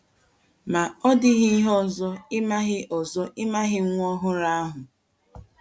Ma ọ́ dịghị ihe ọzọ,ị maghị ọzọ,ị maghị nwa ọhụrụ ahụ.